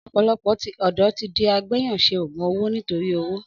Ọ̀pọ̀lọpọ̀ ọ̀dọ́ ti di àgbẹyàn sẹ ògún òwó nitori òwó.